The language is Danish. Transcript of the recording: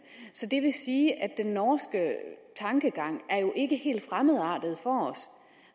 det vil sige at den norske tankegang jo ikke er helt fremmedartet for os